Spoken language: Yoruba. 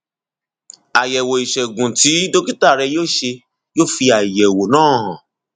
àyẹwò ìṣègùn tí dókítà rẹ yóò ṣe yóò fi àyẹwò náà hàn